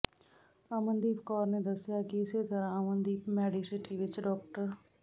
ਅਮਨਦੀਪ ਕੌਰ ਨੇ ਦੱਸਿਆ ਕਿ ਇਸੇ ਤਰ੍ਹਾਂ ਅਮਨਦੀਪ ਮੈਡੀਸਿਟੀ ਵਿਚ ਡਾ